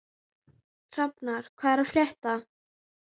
Hrafnar, hvað er að frétta?